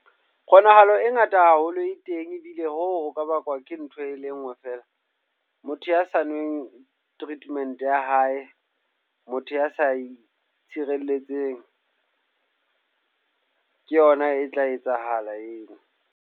Kgonahalo e ngata haholo e teng ebile hoo ho ka bakwa ke ntho e le nngwe fela. Motho ya sa nweng treatment ya hae, motho ya sa itshireletseng. Ke yona e tla etsahala eo.